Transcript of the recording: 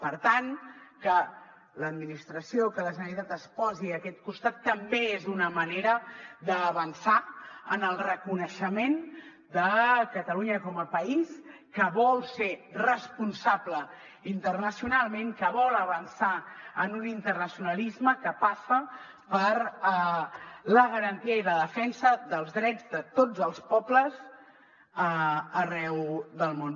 per tant que l’administració que la generalitat es posi a aquest costat també és una manera d’avançar en el reconeixement de catalunya com a país que vol ser responsable internacionalment que vol avançar en un internacionalisme que passa per la garantia i la defensa dels drets de tots els pobles arreu del món